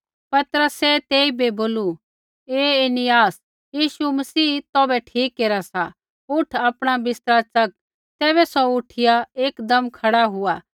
पतरसै तेइबै बोलू हे ऐनियास यीशु मसीह तौभै ठीक केरा सा उठ आपणा बिस्तरा च़क तैबै सौ उठिया एकदम खड़ा हुआ